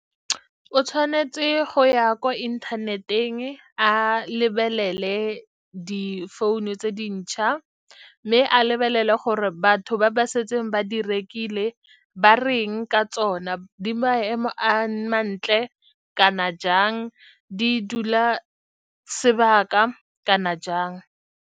O tshwanetse go ya kwa inthaneteng a lebelele difounu tse dintšha, mme a lebelele gore batho ba ba setseng ba di rekile ba reng ka tsona, di maemo a mantle kana jang, di dula sebaka kana jang.